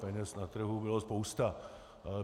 Peněz na trhu byla spousta.